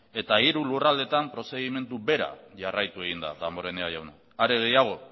eta hiru lurraldeetan prozedimentu bera jarraitu egin da damborenea jauna are gehiago